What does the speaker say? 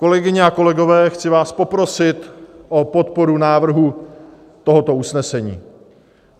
Kolegyně a kolegové, chci vás poprosit o podporu návrhu tohoto usnesení.